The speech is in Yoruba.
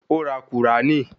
Ó ra Kùránì